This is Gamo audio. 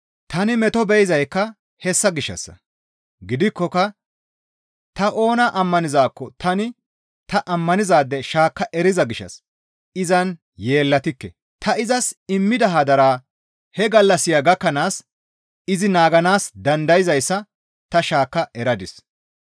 Tani meto be7izaykka hessa gishshassa; gidikkoka ta oona ammanizaakko tani ta ammanizaade shaakka eriza gishshas izan yeellatikke. Ta izas immida hadaraa he gallassiya gakkanaas izi naaganaas dandayzayssa ta shaakka eradis.